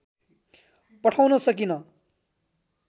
पठाउन सकिन